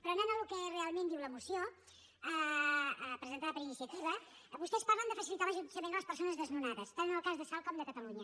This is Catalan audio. però anant al que realment diu la moció presentada per iniciativa vostès parlen de facilitar l’allotjament a les persones desnonades tant en el cas de salt com de catalunya